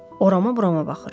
Oramı, buramı baxır.